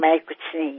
मी खरे तर काहीच नाही